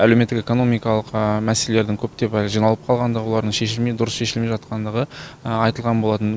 әлеуметтік экономикалық мәселелердің көптеп жиналып қалғандығы олардың шешілмей дұрыс шешілмей жатқандығы айтылған болатын